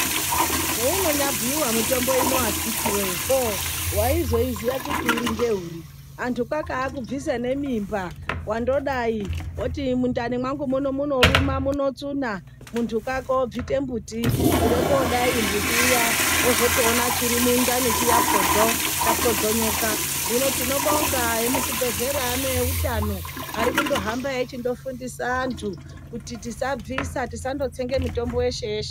Heinya bhuyiwa mutombo uno akiti woye waizoiziya kuti uri ngeuri kuti kwakakubvisa ngemimba kuti ndodai ngekuti mundani mangu munoruma muno tsuna mundu kwake obvisa mbuti kuda kudai mbuti uya wozotoona chiri mundani chiya podzo chapodzeka chopodzonoka hino tinobonga vemuzvibhedhlera neveutano vari kuhamba vachifundisa antu kuti tisabvisa tisangotsenga mitombo yeshe yeshe.